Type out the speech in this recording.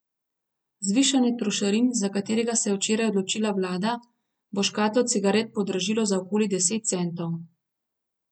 Zvišanje trošarin, za katerega se je včeraj odločila vlada, bo škatlo cigaret podražilo za okoli deset centov.